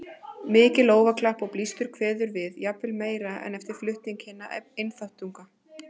Mikið lófaklapp og blístur kveður við, jafnvel meira en eftir flutning hinna einþáttunganna.